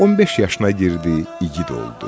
15 yaşına girdi, igid oldu.